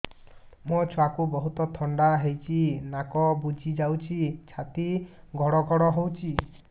ମୋ ଛୁଆକୁ ବହୁତ ଥଣ୍ଡା ହେଇଚି ନାକ ବୁଜି ଯାଉଛି ଛାତି ଘଡ ଘଡ ହଉଚି